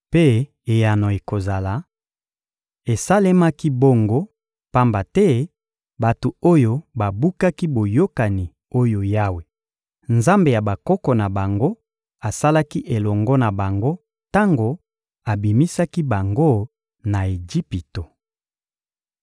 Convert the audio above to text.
Mpe eyano ekozala: ‹Esalemaki bongo, pamba te bato oyo babukaki boyokani oyo Yawe, Nzambe ya bakoko na bango, asalaki elongo na bango tango abimisaki bango na Ejipito.